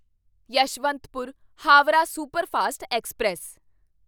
Yeshwantpur Howrah superfast express